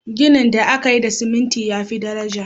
Gini da aka yi da ciminti ya fi daraja.